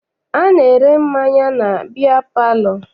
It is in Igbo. A na-ere mmanya na biya palọ.